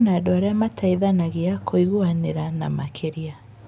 Kwĩna andũ arĩa mateithanagia, kũiguanĩra na makĩria.